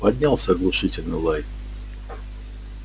поднялся оглушительный лай